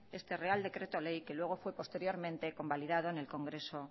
este real decreto ley que luego fue posteriormente convalidado en el congreso